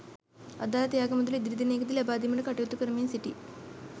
අදාළ ත්‍යාග මුදල ඉදිරි දිනයකදී ලබාදීමට කටයුතු කරමින් සිටී.